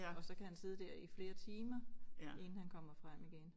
Og så kan sidde dér i flere timer inden han kommer frem igen